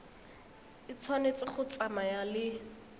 e tshwanetse go tsamaya le